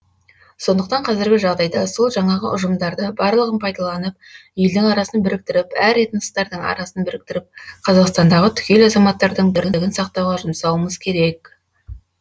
сондықтан қазіргі жағдайда сол жаңағы ұжымдарды барлығын пайдаланып елдің арасын біріктіріп әр этностардың арасын біріктіріп қазақстандағы түгел азаматтардың бірлігін сақтауға жұмсауымыз керек